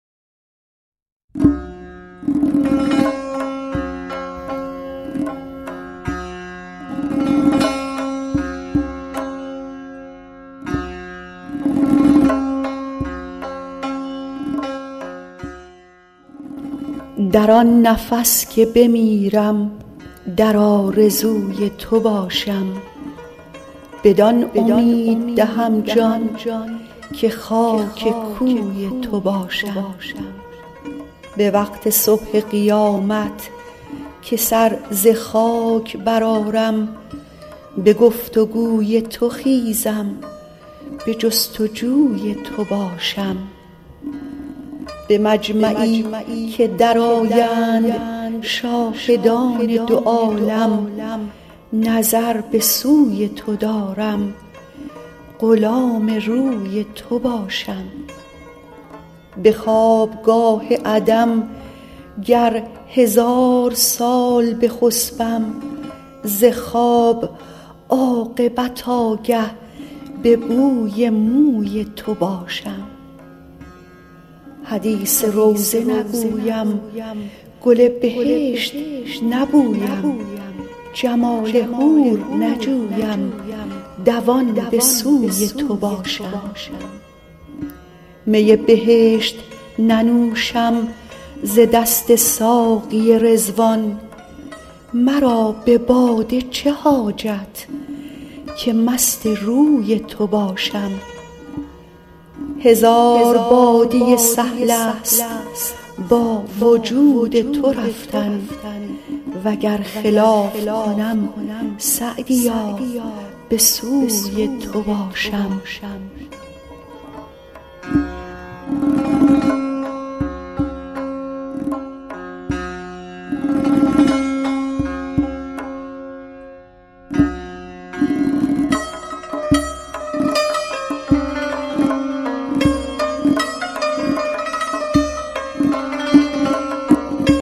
در آن نفس که بمیرم در آرزوی تو باشم بدان امید دهم جان که خاک کوی تو باشم به وقت صبح قیامت که سر ز خاک برآرم به گفت و گوی تو خیزم به جست و جوی تو باشم به مجمعی که درآیند شاهدان دو عالم نظر به سوی تو دارم غلام روی تو باشم به خوابگاه عدم گر هزار سال بخسبم ز خواب عاقبت آگه به بوی موی تو باشم حدیث روضه نگویم گل بهشت نبویم جمال حور نجویم دوان به سوی تو باشم می بهشت ننوشم ز دست ساقی رضوان مرا به باده چه حاجت که مست روی تو باشم هزار بادیه سهل است با وجود تو رفتن و گر خلاف کنم سعدیا به سوی تو باشم